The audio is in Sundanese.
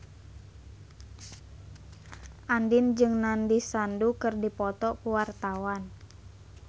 Andien jeung Nandish Sandhu keur dipoto ku wartawan